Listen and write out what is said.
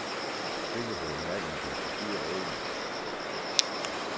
Kvikke bemærkninger kan forstyrre roen.